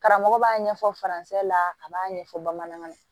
Karamɔgɔ b'a ɲɛfɔ la a b'a ɲɛfɔ bamanan na